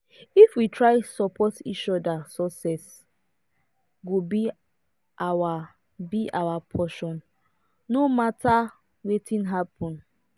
if we try support each other success go be our be our portion no matter wetin happen.